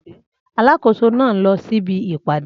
Alákóso na nlọ síbi ìpàdé